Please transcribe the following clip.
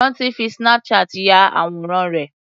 Ranti fi Snapchat ya àwòrán rẹ̀.